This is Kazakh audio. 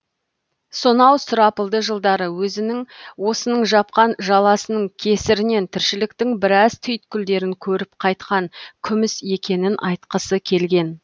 сонау сұрапылды жылдары өзінің осының жапқан жаласының кесірінен тіршіліктің біраз түйткілдерін көріп қайтқан күміс екенін айтқысы келген